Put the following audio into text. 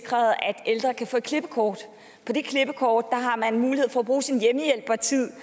sikret at ældre kan få et klippekort på det klippekort har man mulighed for at bruge sin hjemmehjælpertid